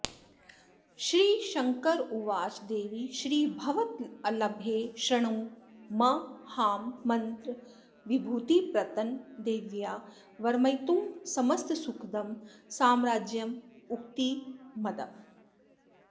श्रीशङ्कर उवाच देवी श्रीभववल्लभे शृणु महामन्त्रविभूतिप्रदन्देव्या वर्मयुतं समस्तसुखदं साम्राज्यदम्मुक्तिदम्